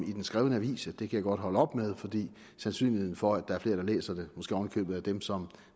i den skrevne avis at det kan jeg godt holde op med fordi sandsynligheden for at der er flere der læser det måske oven i købet af dem som